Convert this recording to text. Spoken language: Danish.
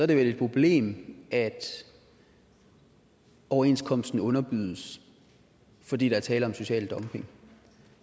det vel et problem at overenskomsten underbydes fordi der er tale om social dumping